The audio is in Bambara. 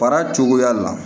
Baara cogoya la